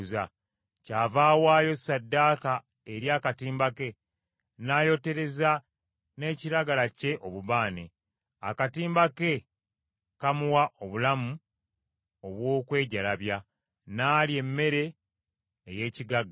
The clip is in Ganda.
Kyava awaayo ssaddaaka eri akatimba ke n’ayotereza n’ekiragala kye obubaane; akatimba ke kamuwa obulamu obw’okwejalabya, n’alya emmere ey’ekigagga.